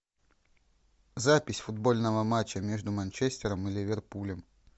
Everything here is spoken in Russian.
запись футбольного матча между манчестером и ливерпулем